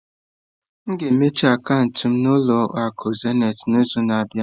M ga-emechi akaụntụ m na ụlọ akụ zenịtị n'izu na-abịa.